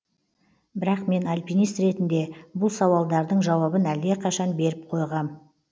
бірақ мен альпинист ретінде бұл сауалдардың жауабын әлдеқашан беріп қойғам